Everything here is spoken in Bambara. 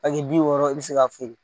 bi wɔɔrɔ i bɛ se ka feere.